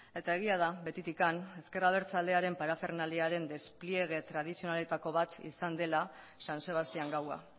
eta egia da betitik ezker abertzalearen parafernaliaren despliege tradizionaletako bat izan dela san sebastián gaua